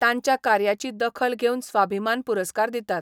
तांच्या कार्याची दखल घेवन स्वाभिमान पुरस्कार दितात.